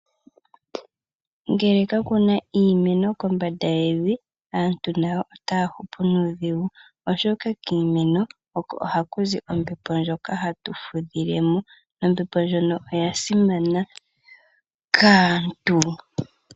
Ngele kakuna iimeno kombanda yevi, aantu nayo otaa hupu nuudhigu oshoka kiimeno oko haku zi ombepo ndjoka hatu fudhilemo, ombepo ndjono oya simana kaantu.